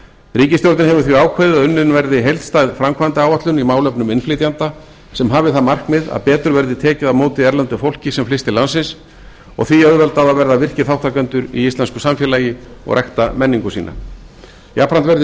ríkisstjórnin hefur því ákveðið að unnin verði heildstæð framkvæmdaáætlun í málefnum innflytjenda sem hafi það markmið að betur verði tekið á móti erlendu fólki sem flyst til landsins og því auðveldað að verða virkir þátttakendur í íslensku samfélagi og rækta menningu sína jafnframt verði